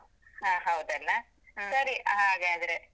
ಹಾ ಹೌದಲ್ಲ? ಸರಿ ಹಾಗಾದ್ರೆ.